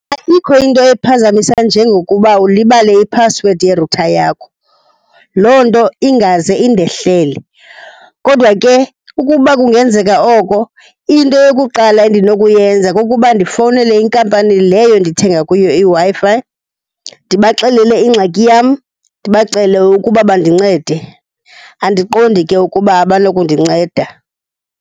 Ayikho into ephazamisa njengokuba ulibale iphasiwedi ye-router yakho. Loo nto ingaze indehlele. Kodwa ke ukuba kungenzeka oko, into yokuqala endinokuyenza kukuba ndifowunele inkampani leyo ndithenga kuyo iWi-Fi ndibaxelele ingxaki yam, ndibacele ukuba bandincede. Andiqondi ke ukuba abanokundinceda.